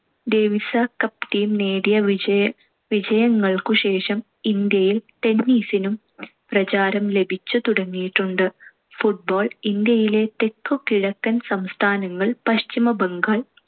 ഡേവിസ cup team നേടിയ വിജയ~ വിജയങ്ങൾക്കു ശേഷം ഇന്ത്യയിൽ tennis നും പ്രചാരം ലഭിച്ചു തുടങ്ങിയിട്ടുണ്ട്. football ഇന്ത്യയിലെ തെക്കു കിഴക്കൻ സംസ്ഥാനങ്ങൾ, പശ്ചിമ ബംഗാൾ,